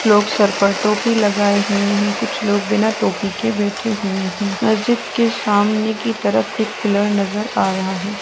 कुछ लोग सर पर टोपी लगाए हुए हैं कुछ लोग बिना टोपी के बैठे हुए हैं। मस्जिद के सामने की तरफ एक पिलर नजर आ रहा है।